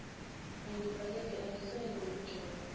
angibaleki angisayi nakujabu